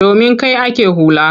Domin kai ake hula.